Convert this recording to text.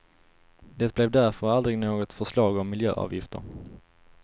Det blev därför aldrig något förslag om miljöavgifter.